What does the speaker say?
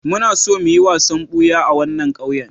Muna so mu yi wasan buya a wannan ƙauyen.